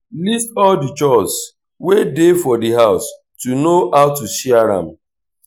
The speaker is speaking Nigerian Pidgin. list all di chores wey dey for di house to know how to share am